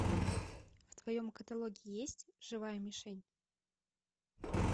в твоем каталоге есть живая мишень